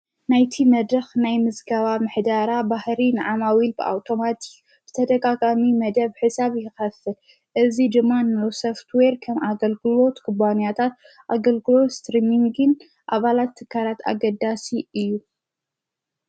ናይቲ መድኽ ናይ ምዝጋባ ምሕዳራ ባሕሪን ዓማዊ ኢል ብኣውቶማቲ ብተደቃቃሚ መደብ ሕሳብ ይኸፍል እዙ ድማን ሎሰፍት ወይር ከም ኣገልግዎት ክዋንያታት ኣገልግሎ ስትርምንግን ኣባላት ተካራት ኣገዳሲ እዩ።